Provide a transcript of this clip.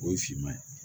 O ye finman ye